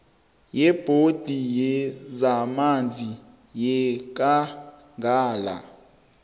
yebhodi yezamanzi yekangala